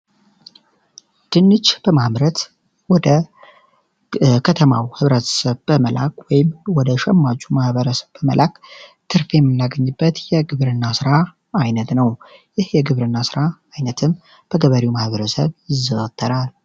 ድንች በማምረት ወደ ከተማው ማህበረሰብ በመላክ ወይም ወደ ሸማቹ ማህበረሰብ በመላክ ትርፍ የምናገኝበት የግብርና ስራ አይነት ነው። ይህ የግብርና አይነትም በገበሬው ማህበረሰብ ይዘወተራል።